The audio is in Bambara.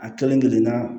A kelen kelenna